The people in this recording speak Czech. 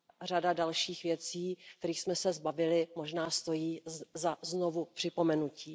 Řada dalších věcí, kterých jsme se zbavili, možná stojí za znovu připomenutí.